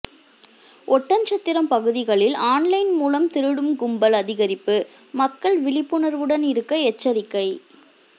ஒட்டன்சத்திரம் பகுதிகளில் ஆன்லைன் மூலம் திருடும் கும்பல் அதிகரிப்பு மக்கள் விழிப்புணர்வுடன் இருக்க எச்சரிக்கை